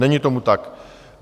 Není tomu tak.